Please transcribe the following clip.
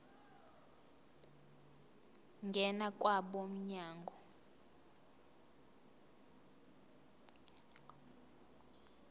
ngena kwabo mnyango